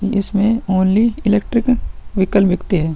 इसमें only electric vehicle बिकते हैं |